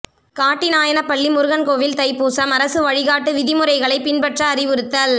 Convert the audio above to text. காட்டிநாயனப்பள்ளி முருகன் கோயில் தைப்பூசம் அரசு வழிகாட்டு விதிமுறைகளைப் பின்பற்ற அறிவுறுத்தல்